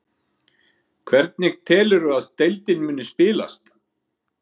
Hvernig telurðu að deildin muni spilast?